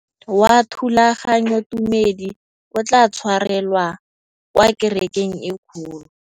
Mokete wa thulaganyôtumêdi o tla tshwarelwa kwa kerekeng e kgolo.